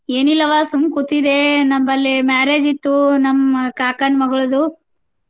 ಏನಿಲ್ಲವ ಸುಮ್ ಕೂತಿದ್ದೆ ನಮ್ಮಲ್ಲಿ marriage ಇತ್ತು ನಮ್ಮ ಕಾಕಾನ್ ಮಗಳ್ದು.